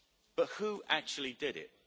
But who actually did it?